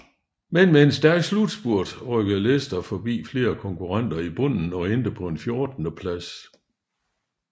Men med en stærk slutspurt rykkede Leicester forbi flere konkurrenter i bunden og endte på en fjortendeplads